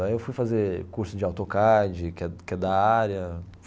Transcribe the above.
Aí eu fui fazer curso de AutoCad, que é que é da área.